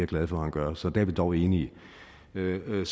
glad for han gør så der er vi dog enige jamen